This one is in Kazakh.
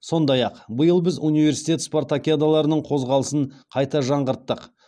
сондай ақ биыл біз университет спартакиадаларының қозғалысын қайта жаңғырттық